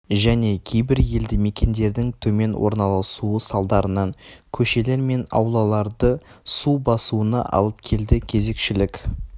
және кейбір елді мекендердің төмен орналасуы салдарынан көшелер мен аулаларды су басуына алып келді кезекшілік